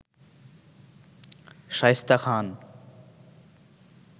Shaista Khan